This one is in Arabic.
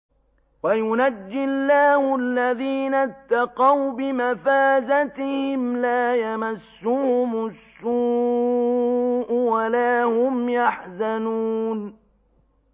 وَيُنَجِّي اللَّهُ الَّذِينَ اتَّقَوْا بِمَفَازَتِهِمْ لَا يَمَسُّهُمُ السُّوءُ وَلَا هُمْ يَحْزَنُونَ